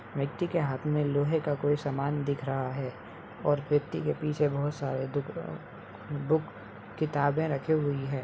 व्यक्ति के हाथ में लोहे का कोई सामान दिख रहा है और व्यक्ति के पीछे बहुत सारे बुक किताबें रखी हुई हैं।